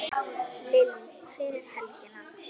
Lillý: Fyrir helgina?